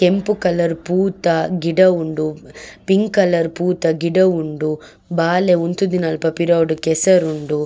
ಕೆಂಪು ಕಲರ್ ಪೂ ತ ಗಿಡ ಉಂಡು ಪಿಂಕ್ ಕಲರ್ ಪೂ ತ ಗಿಡ ಉಂಡು ಬಾಲೆ ಉಂತುದಿನಲ್ಪ ಪಿರವುಡು ಕೆಸರುಂಡು.